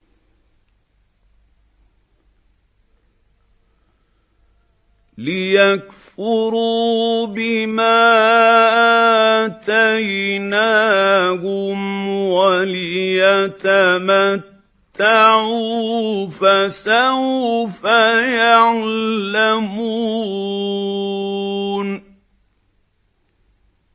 لِيَكْفُرُوا بِمَا آتَيْنَاهُمْ وَلِيَتَمَتَّعُوا ۖ فَسَوْفَ يَعْلَمُونَ